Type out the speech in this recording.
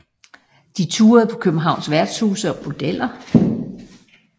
De turede på Københavns værtshuse og bordeller